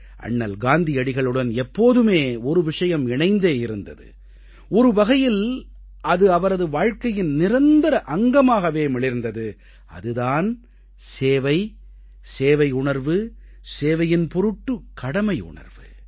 அண்ணல் காந்தியடிகளுடன் எப்போதுமே ஒரு விஷயம் இணைந்தே இருந்தது ஒரு வகையில் அது அவரது வாழ்க்கையின் நிரந்தர அங்கமாகவே மிளிர்ந்தது அது தான் சேவை சேவையுணர்வு சேவையின் பொருட்டு கடமையுணர்வு